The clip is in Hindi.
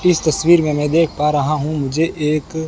इस तस्वीर में मैं देख पा रहा हूं मुझे एक--